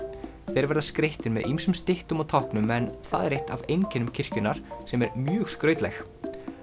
þeir verða skreyttir með ýmsum styttum og táknum en það er eitt af einkennum kirkjunnar sem er mjög skrautleg